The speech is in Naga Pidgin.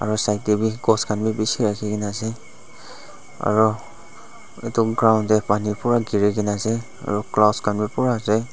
aro side tae ghos khan bi bishi rakhikena ase aro edu ground tae panu pura girikae na ase aro colors kha bi pura ase.